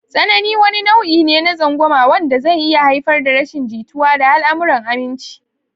Tsanani wani nau'i ne na tsangwama wanda zai iya haifar da rashin jituwa da al'amuran aminci.